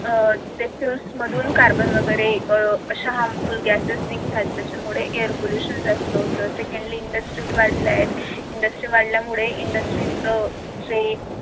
अह fuels मधून carbon वगैरे अह येतो अशा harmful gases नि आणि त्याच्यामुळे air pollution जास्त होत. secondlyindusries वाढल्या आहेत industries वाढल्यामुळे industries जे